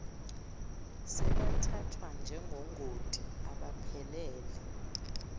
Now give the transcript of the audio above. sebethathwa njengongoti abaphelele